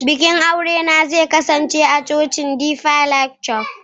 bikin aurena zai kasance a cocin deeper life church